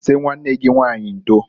Sị nwanne gị nwanyị ndoǃ